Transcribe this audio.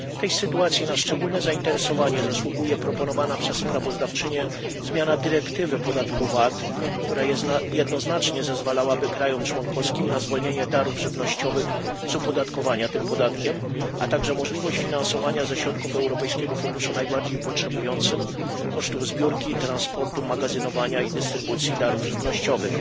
W tej sytuacji na szczególne zainteresowanie zasługuje proponowana przez sprawozdawczynię zmiana dyrektywy VAT, która jednoznacznie zezwalałaby krajom członkowskim na zwolnienie darów żywnościowych z opodatkowania tym podatkiem, a także możliwość finansowania ze środków Europejskiego Funduszu Pomocy Najbardziej Potrzebującym kosztów zbiórki i transportu, magazynowania i dystrybucji darów żywnościowych.